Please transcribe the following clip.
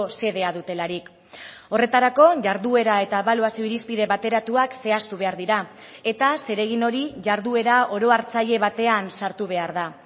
sedea dutelarik horretarako jarduera eta ebaluazio irizpide bateratuak zehaztu behar dira eta zeregin hori jarduera orohartzaile batean sartu behar da